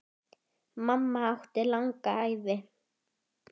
Mamma átti langa ævi.